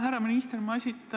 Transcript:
Härra minister!